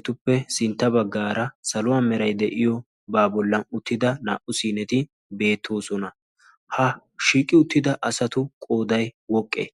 Etuppe sintta baggaara saluwa meray de'iyoobaa bollan uttida naa"u siineti beettoosona. Ha shiiqi uttida asatu qooday woqqee?